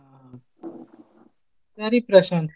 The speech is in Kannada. ಹಾ. ಸರಿ ಪ್ರಶಾಂತ್.